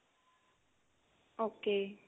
okay